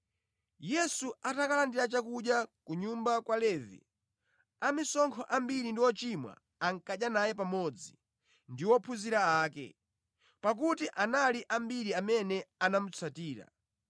Yesu atakalandira chakudya ku nyumba kwa Levi, amisonkho ambiri ndi “ochimwa” ankadya naye pamodzi ndi ophunzira ake, pakuti anali ambiri amene anamutsatira.